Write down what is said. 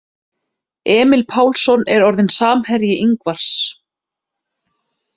Emil Pálsson er orðinn samherji Ingvars.